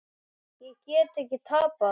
Ég get ekki tapað.